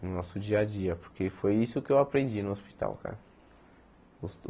no nosso dia-a-dia, porque foi isso que eu aprendi no hospital, cara.